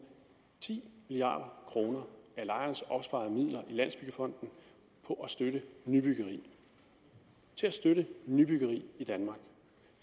ti milliard kroner af lejernes opsparede midler i landsbyggefonden på at støtte nybyggeri til at støtte nybyggeri i danmark